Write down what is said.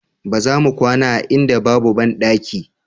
Ba za mu kwana a inda babu bandaki